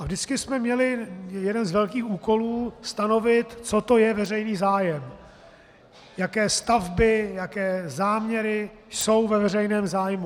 Ale vždycky jsme měli jeden z velkých úkolů stanovit, co to je veřejný zájem, jaké stavby, jaké záměry jsou ve veřejném zájmu.